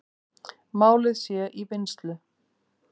Málið sé í vinnslu.